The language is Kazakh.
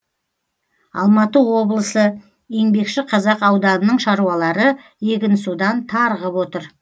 алматы облысы еңбекшіқазақ ауданының шаруалары егінсудан тарығып отыр